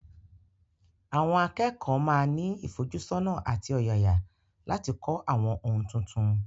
Àwọn akẹ́kọ̀ọ́ máa ní ìfojúsọ́nà àti ọ̀yàyà láti kọ́ àwọn ohun tuntun.